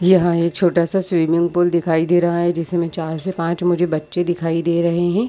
यहाँ एक छोटा सा स्विमममिंग पूल दिखाई दे रहा है जिसमें चार से पाँच मुझे बच्चे दिखाई दे रहै है।